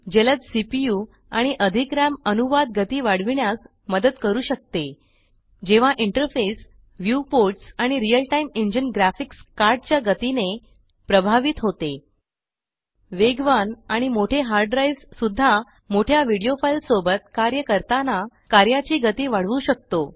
जलद सीपीयू आणि अधिक राम अनुवाद गती वाढविण्यास मदत करू शकते जेव्हा इंटरफेस व्यूपोर्ट्स आणि real time engine graphics card च्या गतीने प्रभावित होते वेगवान आणि मोठे हार्ड ड्राइव्स सुद्धा मोठया वीडियो फाइल सोबत कार्य करताना कार्याची गती वाढवू शकतो